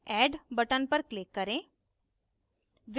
add button पर click करें